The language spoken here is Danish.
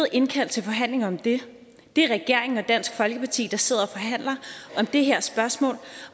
indkaldt til forhandlinger om det det er regeringen og dansk folkeparti der sidder og forhandler om det her spørgsmål